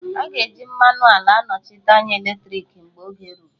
A ga-eji mmanụ ala anọchite anya eletriki mgbe oge ruru